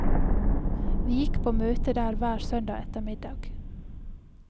Vi gikk på møtet der hver søndag ettermiddag.